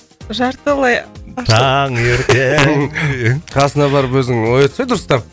жартылай ашық таңертең қасына барып өзің оятсай дұрыстап